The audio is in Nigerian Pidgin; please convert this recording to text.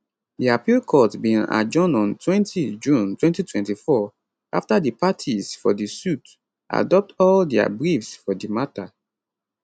di appeal court bin adjourn ontwentyjune 2024 after di parties for di suit adopt all dia briefs for di matter